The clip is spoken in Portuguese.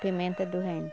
Pimenta do reino.